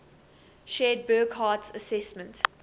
shared burckhardt's assessment